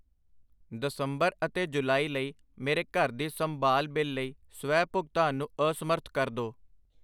ਦਸੰਬਰ ਅਤੇ ਜੁਲਾਈ ਲਈ ਮੇਰੇ ਘਰ ਦੀ ਸੰਭਾਲ ਬਿੱਲ ਲਈ ਸਵੈ ਭੁਗਤਾਨ ਨੂੰ ਅਸਮਰੱਥ ਕਰ ਦੋ।